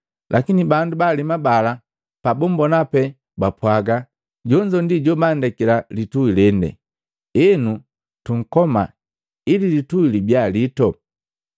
Lakini bandu baalema bala pabumbona pee, bapwagannya, ‘Jonzo ndi jobandekila lituhi lende. Enu, tunkoma ili litui libia liito.’